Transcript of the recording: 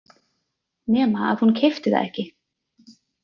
Nema að hún keypti það ekki.